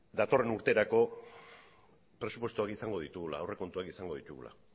datorren urterako aurrekontuak izango ditugula